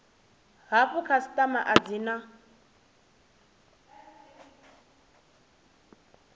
hafhu khasitama a dzi na